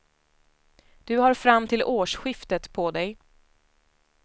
Du har fram till årsskiftet på dig.